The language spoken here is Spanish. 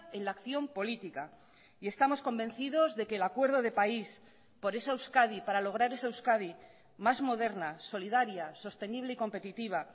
en la acción política y estamos convencidos de que el acuerdo de país por esa euskadi para lograr esa euskadi más moderna solidaria sostenible y competitiva